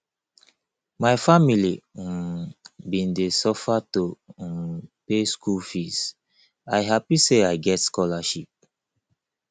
my family um bin dey suffer to um pay skool fees i hapi sey i get scholarship